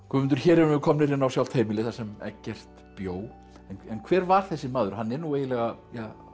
Guðmundur hér erum við komnir inn á sjálft heimilið þar sem Eggert bjó en hver var þessi maður hann er nú eiginlega